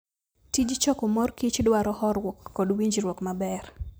Tij choko morkich dwaro horuok kod winjruok maber.